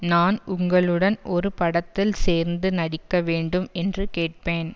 நான் உங்களுடன் ஒரு படத்தில் சேர்ந்து நடிக்க வேண்டும் என்று கேட்பேன்